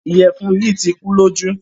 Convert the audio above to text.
Ìyẹfun yìí tì kùlọ̀jú.